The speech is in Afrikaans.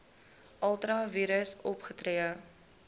ultra vires opgetree